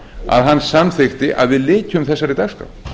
að hann samþykkti að við lykjum þessari dagskrá